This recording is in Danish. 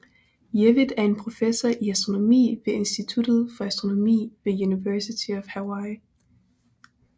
Jewitt er en professor i astronomi ved instituttet for astronomi ved University of Hawaii